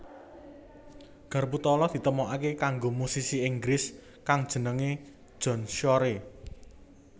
Garpu tala ditemokaké karo musisi Inggris kang jenengé John Shore